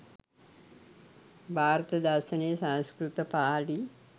භාරත දර්ශනය, සංස්කෘත, පාලි